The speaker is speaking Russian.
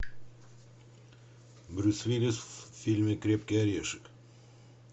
брюс уиллис в фильме крепкий орешек